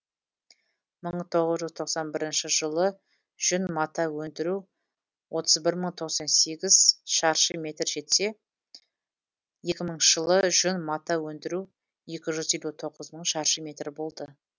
мың тоғыз жүз тоқсан бірінші жылы жүн мата өндіру отыз бір мың тоқсан сегіз шаршы метрге жетсе екі мыңыншы жылы жүн мата өндіру екі жүз елу тоғыз мың шаршы метр болды